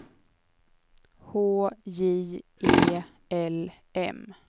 H J E L M